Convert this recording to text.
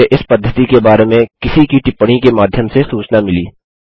मुझे इस पद्धति के बारे में किसी की टिप्पणी के माध्यम से सूचना मिली